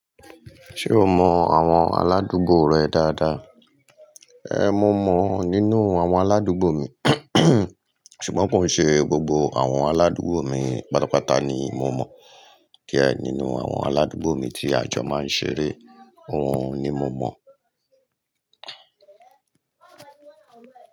Ṣé o mọ àwọn aládùúgbò rẹ dáadáa? Ẹ̀. Mò mọ nínú àwọn aládùúgbò mi ṣùgbọ́n kò n ṣe gbogbo àwọn aládùúgbò mi pátápátá ni mo mọ, die nínú àwọn aládùúgbò mi tí àjọ máa ń ṣeré, òun ni mo mọ̀.